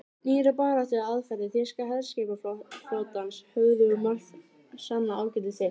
Nýjar baráttuaðferðir þýska herskipaflotans höfðu um margt sannað ágæti sitt.